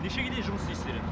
нешеге дейін жұмыс істейсіздер